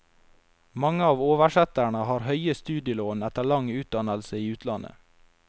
Mange av oversetterne har høye studielån etter lang utdannelse i utlandet.